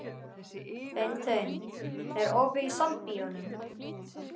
Beinteinn, er opið í Sambíóunum?